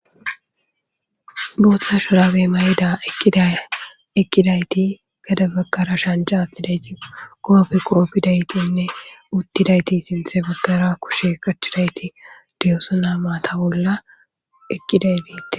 booththa shorabe may7da eqqiday eqqidayti gada bagqara shanja atidayti koofe qoofidaytinne uttidayti sinthe baggara kushe qachidayti diyoso na maata bolla eqqiday deete